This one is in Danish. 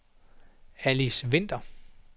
Alice Winther